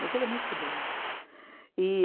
Mas ele é muito rebelde. E